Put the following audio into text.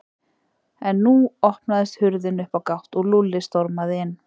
En nú opnaðist hurðin upp á gátt og Lúlli stormaði inn.